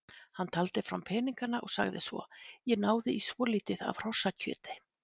Hann taldi fram peningana og sagði svo: Ég náði í svolítið af hrossakjöti.